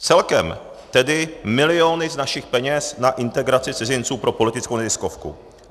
Celkem tedy miliony z našich peněz na integraci cizinců pro politickou neziskovku.